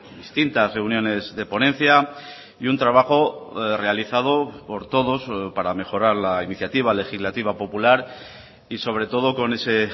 distintas reuniones de ponencia y un trabajo realizado por todos para mejorar la iniciativa legislativa popular y sobre todo con ese